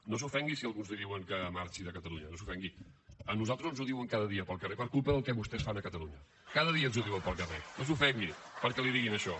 no s’ofengui si alguns li diuen que marxi de catalunya no s’ofengui a nosaltres ens ho diuen cada dia pel carrer per culpa del que vostès fan a catalunya cada dia ens ho diuen pel carrer no s’ofengui perquè li diguin això